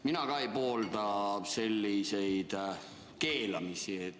Mina ka ei poolda selliseid keelamisi.